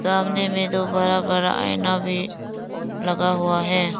सामने में दो बड़ा बड़ा आईना भी लगा हुआ है।